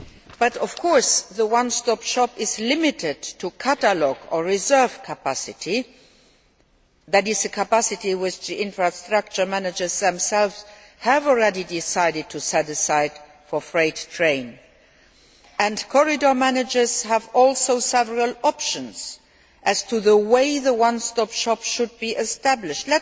But, of course, the one stop shop is limited to catalogue or reserve capacity that is, the capacity which the infrastructure managers themselves have already decided to set aside for freight trains. Corridor managers have also several options as to the way in which the one stop shop should be established.